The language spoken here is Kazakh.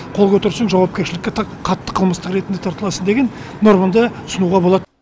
қол көтерсең жауапкершілікке қатты қылмыстық ретінде тартыласың деген нормада ұсынуға болады